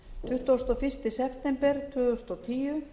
tuttugasta og fyrsta september tvö þúsund og tíu